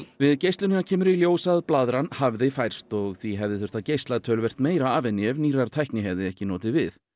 við geislunina kemur í ljós að blaðran hafði færst og því hefði þurft að geisla töluvert meira af henni ef nýrrar tækni hefði ekki notið við